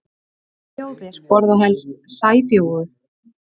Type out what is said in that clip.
Hvaða þjóðir borða helst sæbjúgu?